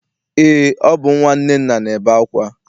Eé, ọ bụ nnwa Nnenna na-ebe akwa.